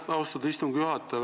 Aitäh, austatud istungi juhataja!